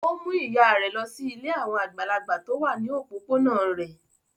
Ó mú ìyà rẹ̀ lọ sí ilé àwọn àgbàlagbà tó wà ní òpópónà rẹ̀.